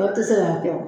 Dɔw tɛ se k'a kɛ o